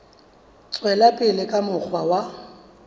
tswela pele ka mokgwa wa